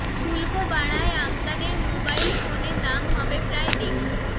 শুল্ক বাড়ায় আমদানির মোবাইল ফোনে দাম হবে প্রায় দ্বিগুণ